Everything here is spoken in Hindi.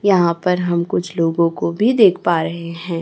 यहां पर हम कुछ लोगो को भी देख पा रहे हैं।